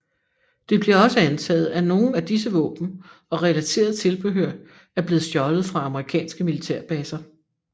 Det bliver også antaget at nogen af disse våben og relateret tilbehør er blevet stjålet fra amerikanske militærbaser